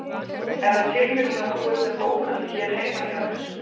Er það tilviljun að þú ert með bókhaldið hér heima hjá þér?